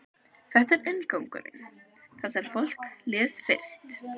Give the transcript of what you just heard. Þetta er inngangurinn, það sem fólk les fyrst.